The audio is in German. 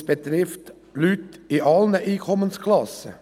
Dies betrifft Leute aller Einkommensklassen.